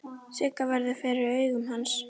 Sigga verður fyrir augum hans.